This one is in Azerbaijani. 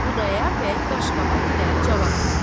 Xudayar bəy qaşqabaq ilə cavab verdi.